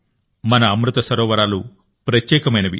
మన అమృత సరోవరాలు ప్రత్యేకమైనవి